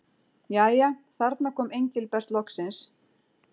Jæja, þarna kom Engilbert loksins.